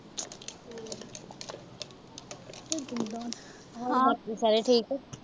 ਹਾਂ। ਬਾਕੀ ਸਾਰੇ ਠੀਕ ਆ।